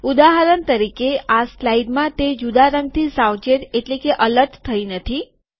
ઉદાહરણ તરીકે આ સ્લાઈડમાં તે જુદા રંગથી સાવચેત એલર્ટ થઈ નથી